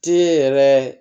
Te yɛrɛ